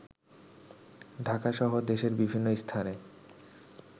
ঢাকাসহ দেশের বিভিন্ন স্থানে